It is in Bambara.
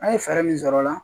An ye fɛɛrɛ min sɔrɔ o la